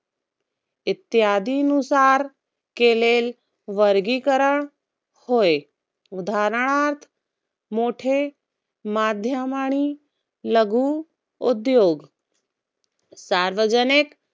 इत्यादीनुसार, केलेलं वर्गीकरण होय. उदाहरणार्थ, मोठे मध्यम आणि लघु उद्योग सार्वजनिक